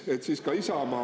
Et siis ka Isamaa …